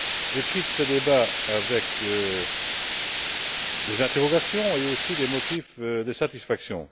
Je quitte ce débat avec des interrogations et aussi des motifs de satisfaction.